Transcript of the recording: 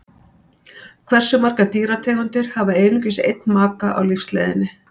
Hversu margar dýrategundir hafa einungis einn maka á lífsleiðinni?